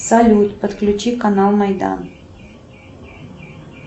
салют подключи канал майдан